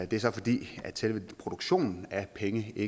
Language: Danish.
det er så fordi selve produktionen af pengesedler